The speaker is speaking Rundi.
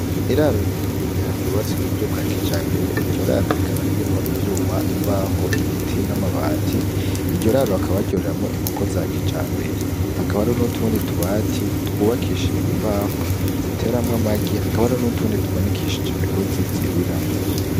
Iraro rininiya ryubatswe mu buryo bwa kijambere . Iryo raro rikaba ririmwo inyuma, imbaho, ibiti n'amabati. Iryo raro bakaba baryoreramwo inkoko za kijambere. Hakaba hariho n'utundi tubati twubakishijwe imbaho, ziteramwo amagi, hakaba hariho n'utundi tumanikishije imigozi turiramwo.